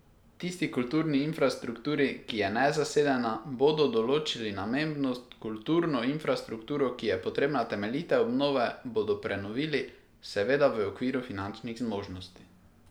Tisti kulturni infrastrukturi, ki je nezasedena, bodo določili namembnost, kulturno infrastrukturo, ki je potrebna temeljite obnove, bodo prenovili, seveda v okviru finančnih zmožnosti.